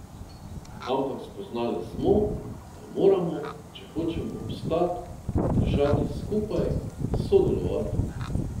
Ampak spoznali smo, da moramo, če hočemo obstati, držati skupaj, sodelovati.